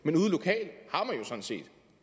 man